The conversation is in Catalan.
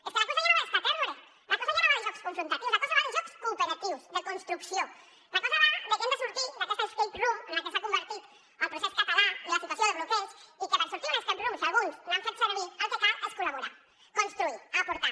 és que la cosa ja no va de scattergories la cosa ja no va de jocs confrontatius la cosa va de jocs cooperatius de construcció la cosa va de que hem de sortir d’aquesta scape room en la que s’ha convertit el procés català i la situació de bloqueig i que per sortir d’una scape room si alguns n’han fet servir el que cal és col·laborar construir aportar